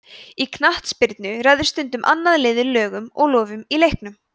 í knattspyrnu ræður stundum annað liðið lögum og lofum í leiknum